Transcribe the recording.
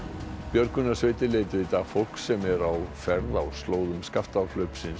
björgunarsveitir leituðu í dag fólks sem er á ferð á slóðum